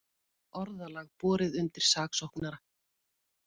Orðalag borið undir saksóknara